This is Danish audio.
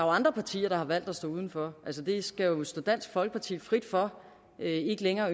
andre partier der har valgt at stå udenfor det skal jo stå dansk folkeparti frit for ikke længere